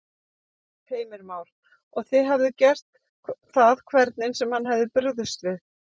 Heimir Már: Og þið hefðuð gert það hvernig sem hann hefði brugðist við?